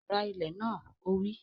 Ra ilẹ̀ náà! Ó wí